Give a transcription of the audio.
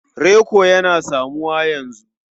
Reko yana samuwa yanzu.